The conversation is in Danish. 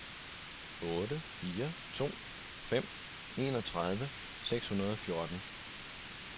otte fire to fem enogtredive seks hundrede og fjorten